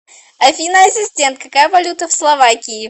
афина ассистент какая валюта в словакии